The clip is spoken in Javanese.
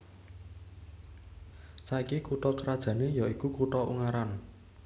Saiki kutha krajané ya iku kutha Ungaran